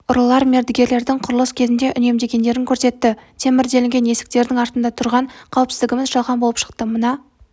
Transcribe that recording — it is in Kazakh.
ұрылар мердігерлердің құрылыс кезінде үнемдегендерін көрсетті темір делінген есіктердің артында тұрған қауіпсіздігіміз жалған болып шықты мына